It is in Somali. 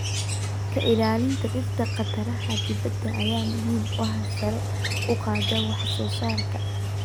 Ka ilaalinta dhirta khataraha dibadda ayaa muhiim u ah sare u qaadida wax-soo-saarka.